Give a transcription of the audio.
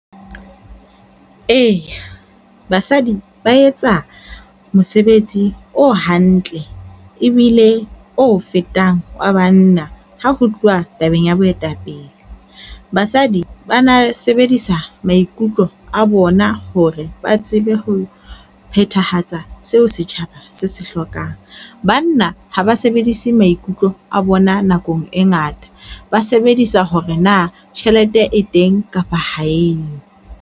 Eya, basadi ba etsa mosebetsi o hantle, ebile o fetang wa banna ha ho tluwa tabeng ya boetapele. Basadi ba na sebedisa maikutlo a bona hore ba tsebe ho phethahatsa seo setjhaba se se hlokang. Banna ha ba sebedise maikutlo a bona nakong e ngata ba sebedisa hore na tjhelete e teng kapa ha eyo.